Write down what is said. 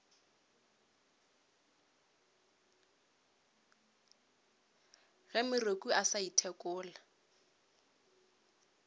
ge moreku a sa ithekole